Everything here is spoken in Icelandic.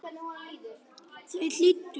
Þeir hlýddu.